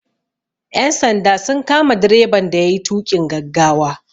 Ƴan sanda sun kama direban da yayi tuƙin gaggawa.